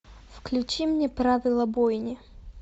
включи мне правила бойни